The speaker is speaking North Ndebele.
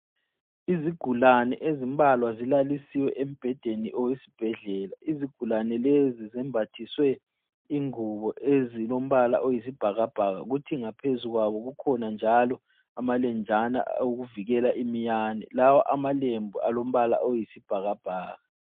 Izigulane ezimbalwa zilalisiwe embhedeni owesibhedlela. Izigulane lezi zembathisiwe ingubo ezilombala oyisibhakabhaka kuthi ngaphezukwawo kukhona njalo amalenjana okuvikela iminyane. Lawa amalembu alombala oyisibhakabhaka.